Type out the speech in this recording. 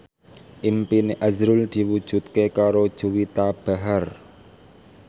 impine azrul diwujudke karo Juwita Bahar